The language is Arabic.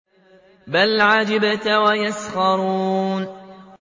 بَلْ عَجِبْتَ وَيَسْخَرُونَ